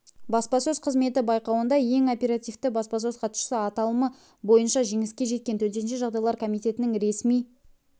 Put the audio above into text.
баспасөз қызметі байқауында ең оперативті баспасөз хатшысы аталымы бойынша жеңіске жеткен төтенше жағдайлар комитетінің ресми